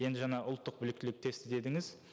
енді жаңа ұлттық біліктілік тесті дедіңіз